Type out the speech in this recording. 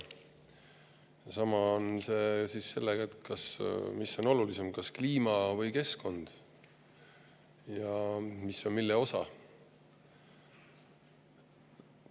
Sama on kliima ja keskkonnaga: kumb on olulisem ja mis on mille osa.